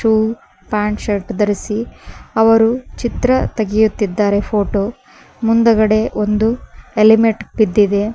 ಗು pant shirt ಧರಿಸಿ ಅವರು ಚಿತ್ರ ತೆಗೆಯುತ್ತಿದ್ದಾರೆ ಫೋಟೋ ಮುಂದುಗಡೆ ಒಂದು ಹೆಲಿಮೆಟ್ ಬಿದ್ದಿದೆ.